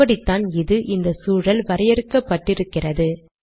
இப்படித்தான் இது இந்த சூழல் வரையறுக்கப்பட்டு இருக்கின்றது